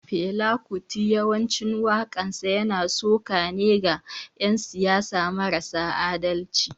Fela kuti yawancin wakansa yana suka ne ga yan siyasan marasa adalci.